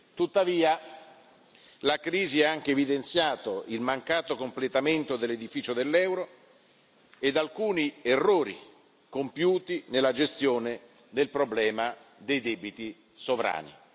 Tuttavia, la crisi ha anche evidenziato il mancato completamento dell'edificio dell'euro ed alcuni errori compiuti nella gestione del problema dei debiti sovrani.